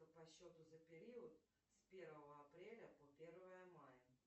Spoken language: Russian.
по счету за период с первого апреля по первое мая